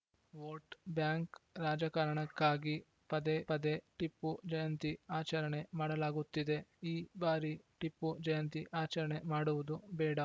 vote bank ರಾಜಕಾರಣಕ್ಕಾಗಿ ಪದೇ ಪದೇ ಟಿಪ್ಪು ಜಯಂತಿ ಆಚರಣೆ ಮಾಡಲಾಗುತ್ತಿದೆ ಈ ಬಾರಿ ಟಿಪ್ಪು ಜಯಂತಿ ಆಚರಣೆ ಮಾಡುವುದು ಬೇಡ